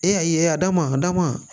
E y'a ye a da ma a da ma